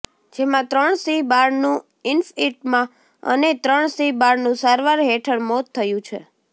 જેમાં ત્રણ સિંહબાળનું ઇન્ફઇટમાં અને ત્રણ સિંહ બાળનું સારવાર હેઠળ મોત થયું છે